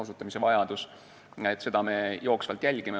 Seda kõike me jooksvalt jälgime.